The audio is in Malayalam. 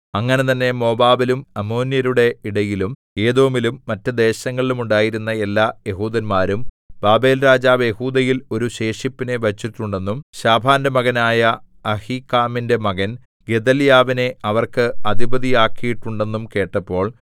അങ്ങനെ തന്നെ മോവാബിലും അമ്മോന്യരുടെ ഇടയിലും ഏദോമിലും മറ്റു ദേശങ്ങളിലും ഉണ്ടായിരുന്ന എല്ലാ യെഹൂദന്മാരും ബാബേൽരാജാവ് യെഹൂദയിൽ ഒരു ശേഷിപ്പിനെ വച്ചിട്ടുണ്ടെന്നും ശാഫാന്റെ മകനായ അഹീക്കാമിന്റെ മകൻ ഗെദല്യാവിനെ അവർക്ക് അധിപതിയാക്കിയിട്ടുണ്ടെന്നും കേട്ടപ്പോൾ